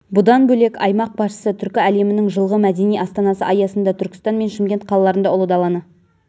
бұдан бөлек аймақ басшысы түркі әлемінің жылғы мәдени астанасы аясында түркістан мен шымкент қалаларында ұлы даланы